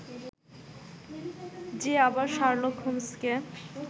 যে আবার শার্লক হোমসকে